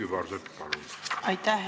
Külliki Kübarsepp, palun!